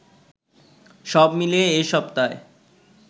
সবমিলিয়ে এ সপ্তায়